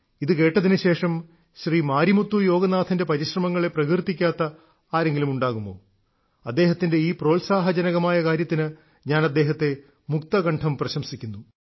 ഇത് കേട്ടതിനുശേഷം ശ്രീ മാരിമുത്തു യോഗനാഥന്റെ പരിശ്രമങ്ങളെ പ്രകീർത്തിക്കാത്ത ആരെങ്കിലും ഉണ്ടാകുമോ അദ്ദേഹത്തിന്റെ ഈ പ്രോത്സാഹനജനകമായ കാര്യത്തിന് ഞാൻ അദ്ദേഹത്തെ മുക്തകണ്ഠം പ്രശംസിക്കുന്നു